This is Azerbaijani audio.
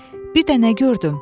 Bir dənə gördüm.